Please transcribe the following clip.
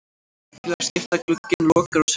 Félagaskiptaglugginn lokar á sunnudag.